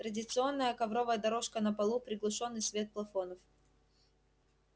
традиционная ковровая дорожка на полу приглушённый свет плафонов